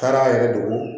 Taara a yɛrɛ dogo